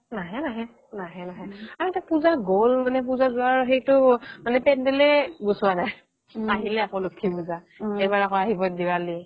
নাহে নাহে নাহে নাহে আৰু তাত পূজা গ'ল মানে পূজা যোৱাৰ সেইতো মানে পেণ্ডেলে গুচোৱা নাই আহিল আকৌ লক্ষী পূজা এইবাৰ আকৌ আহিব দেৱালী